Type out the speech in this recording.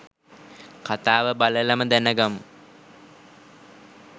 කතාව බලලම දැනගමු.